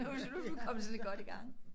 Nu vi nu vi kommet sådan godt i gang